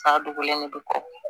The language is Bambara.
Sa dogolen de bɛ kɔ